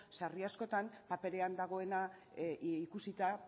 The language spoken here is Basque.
sarri askotan paperean dagoena ikusita